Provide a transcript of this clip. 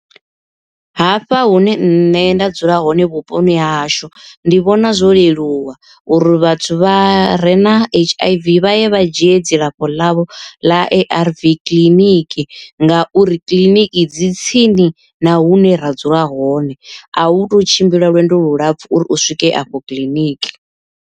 Hafha hune nṋe nda dzula hone vhuponi ha hashu ndi vhona zwo leluwa uri vhathu vha re na H_I_V vha ye vha dzhie dzilafho ḽavho ḽa A_R_V kiḽiniki, ngauri kiḽiniki dzi tsini na hune ra dzula hone a hu tou tshimbila lwendo lulapfu uri u swike afho kiḽiniki.